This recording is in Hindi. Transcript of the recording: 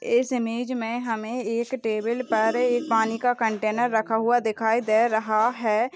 इस इमेज मे हमें एक टेबल पर एक पानी का कन्टेनर रखा हुआ दिखाई दे रहा है।